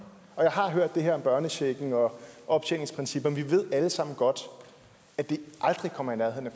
og jeg har hørt det her om børnechecken og optjeningsprincipper men vi ved alle sammen godt at det aldrig kommer i nærheden af